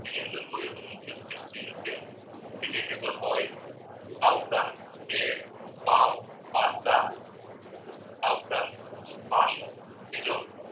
એની અંદર જોઈતો મુખ્ય છે સીંગતેલ vegetable oil આ ઉપરાંત બ્રેડ, પાઉં, પાસ્તા